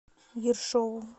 ершову